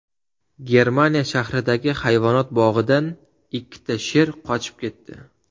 Germaniya sharqidagi hayvonot bog‘idan ikkita sher qochib ketdi.